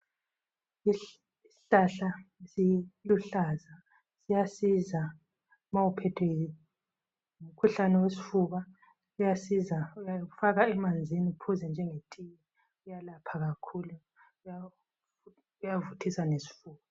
Isihlahla esiluhlaza siyasiza ma uphethwe ngumkhuhlane wesifuba. Kuyasiza uyafaka emanzini uphuze njengetiye kuyalapha kakhulu, kuyavuthisa lesifuba.